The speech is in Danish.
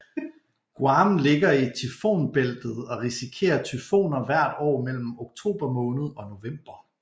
Guam ligger i tyfonbæltet og risikerer tyfoner hvert år mellem oktober måned og november